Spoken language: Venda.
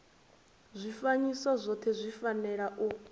zwifanyiso zwothe zwi fanela u